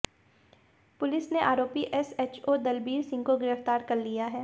police ने आरोपी SHO Dalbir Singh को गिरफ्तार कर लिया है